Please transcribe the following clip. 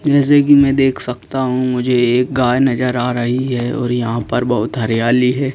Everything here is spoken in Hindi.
जैसे कि मैं देख सकता हूं मुझे एक गाय नजर आ रही है और यहां पर बहुत हरियाली है।